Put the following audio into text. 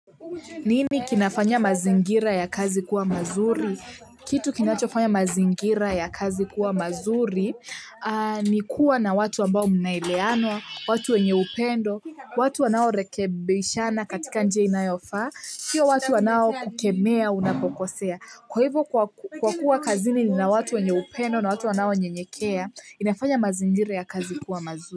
Nini kinafanya mazingira ya kazi kuwa mazuri? Kitu kinachofanya mazingira ya kazi kuwa mazuri ni kuwa na watu ambao mnaeleanwa, watu wenye upendo, watu wanao rekebishana katika njia inayofaa, sio watu wanao kukemea unapokosea. Kwa hivyo kwa kuwa kazini nina watu wenye upendo na watu wanao nyenyekea, inafanya mazingira ya kazi kuwa mazuri.